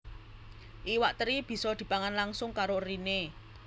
Iwak teri bisa dipangan langsung karo eriné